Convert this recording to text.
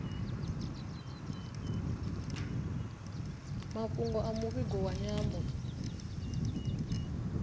mafhungo a muvhigo wa nyambo